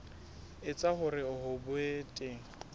etsa hore ho be teng